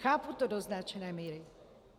Chápu to do značné míry.